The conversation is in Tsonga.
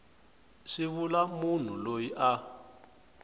swi vula munhu loyi a